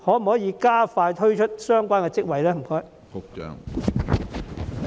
可否加快推出相關職位？